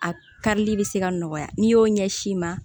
A karili bɛ se ka nɔgɔya n'i y'o ɲɛsin ma